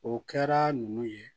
O kɛra ninnu ye